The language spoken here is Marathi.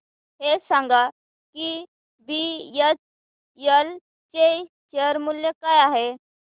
हे सांगा की बीएचईएल चे शेअर मूल्य काय आहे